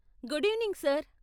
Good evening, sir!